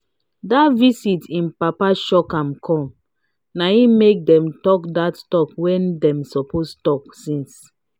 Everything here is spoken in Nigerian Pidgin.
dat visit wey him papa shock am come na im make dem talk dat talk wey dem suppose talk since.